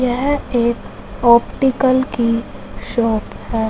यह एक ऑप्टिकल की शॉप हैं।